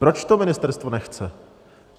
Proč to ministerstvo nechce?